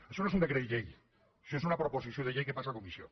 això no és un decret llei això és una proposició de llei que passa a comissió